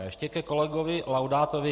A ještě ke kolegovi Laudátovi.